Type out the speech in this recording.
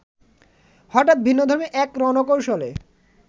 হঠাৎ ভিন্নধর্মী এক রণকৌশলে